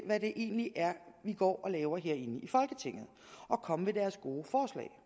hvad det egentlig er vi går og laver herinde i folketinget og komme med deres gode forslag